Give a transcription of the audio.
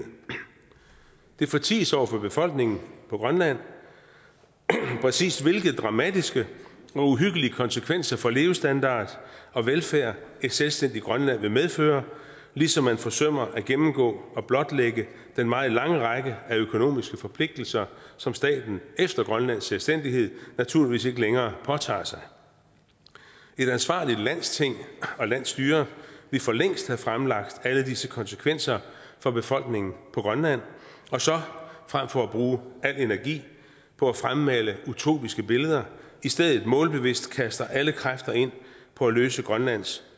det forties over for befolkningen på grønland præcis hvilke dramatiske og uhyggelige konsekvenser for levestandard og velfærd et selvstændigt grønland vil medføre ligesom man forsømmer at gennemgå og blotlægge den meget lange række af økonomiske forpligtelser som staten efter grønlands selvstændighed naturligvis ikke længere påtager sig et ansvarligt landsting og landsstyre ville for længst have fremlagt alle disse konsekvenser for befolkningen på grønland og så frem for at bruge al energi på at fremmane utopiske billeder i stedet målbevidst kaste alle kræfter ind på at løse grønlands